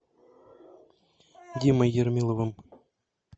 димой ермиловым